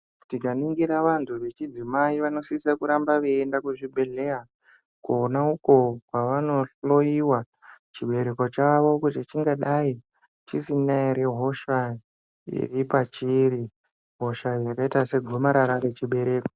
Tikaningira vantu vechidzimai vanosisa kuramba veienda kuzvibhedhlera uko kwavanohloyiwa chibereko chavo kuti chingava chisina here hosha iri pachiri, hosha yakaita segomarara rechibereko.